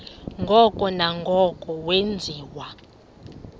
ngoko nangoko wenziwa